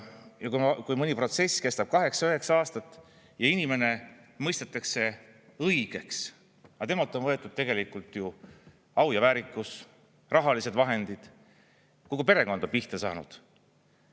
Ja mõni protsess kestab kaheksa, üheksa aastat ja inimene mõistetakse õigeks, aga temalt on võetud au ja väärikus, rahalised vahendid, kogu perekond on pihta saanud.